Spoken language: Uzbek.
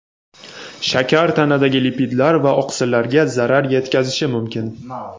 shakar tanadagi lipidlar va oqsillarga zarar yetkazishi mumkin.